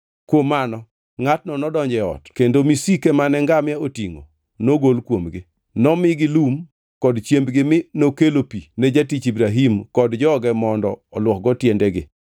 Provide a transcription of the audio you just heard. Kuom mano ngʼatno nodonjo e ot kendo misike mane ngamia otingʼo nogol kuomgi. Nomigi lum kod chiembgi mi nokelo pi ne jatich Ibrahim kod joge mondo olwokgo tiendegi.